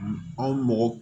Anw mɔgɔ